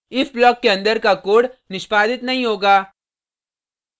if block के अंदर का कोड निष्पादित नहीं होगा